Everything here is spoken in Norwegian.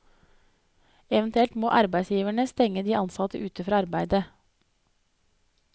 Eventuelt må arbeidsgiverne stenge de ansatte ute fra arbeidet.